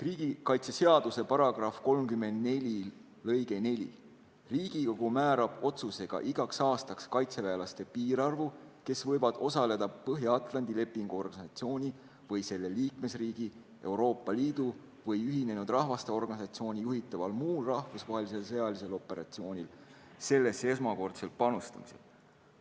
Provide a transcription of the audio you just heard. Riigikaitseseaduse § 34 lõige 4: "Riigikogu määrab otsusega igaks aastaks tegevväelaste piirarvu, kes võivad osaleda Põhja-Atlandi Lepingu Organisatsiooni või selle liikmesriigi, Euroopa Liidu või Ühinenud Rahvaste Organisatsiooni juhitaval muul rahvusvahelisel sõjalisel operatsioonil sellesse esmakordsel panustamisel.